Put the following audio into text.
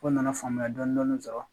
Ko nana faamuya dɔɔnin sɔrɔ